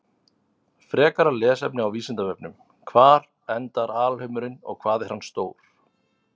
Frekara lesefni á Vísindavefnum: Hvar endar alheimurinn og hvað er hann stór?